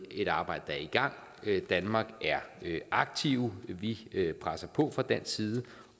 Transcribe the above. et arbejde der er i gang danmark er aktive vi presser på fra dansk side